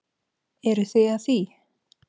Eruð þið að því?